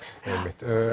já einmitt